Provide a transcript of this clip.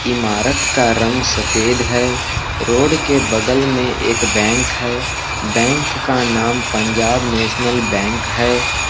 इमारत का रंग सफेद है रोड के बगल में एक बैंक है बैंक का नाम पंजाब नेशनल बैंक है।